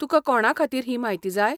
तुकां कोणा खातीर ही म्हायती जाय ?